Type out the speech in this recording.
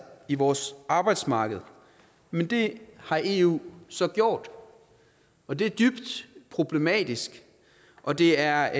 i vores arbejdsmarked men det har eu så gjort og det er dybt problematisk og det er